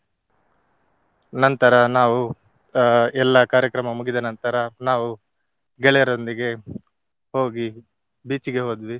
ನಂತರ ನಾವು ಅಹ್ ಎಲ್ಲಾ ಕಾರ್ಯಕ್ರಮ ಮುಗಿದ ನಂತರ ನಾವು ಗೆಳೆಯರೊಂದಿಗೆ ಹೋಗಿ beach ಗೆ ಹೋದ್ವಿ.